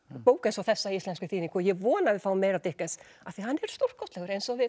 bók eins og þessa í íslenskri þýðingu og ég vona að við fáum meira af Dickens af því hann er stórkostlegur eins og við